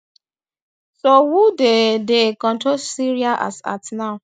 so who dey dey control syria as at now